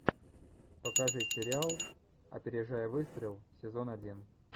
покажи сериал опережая выстрел сезон один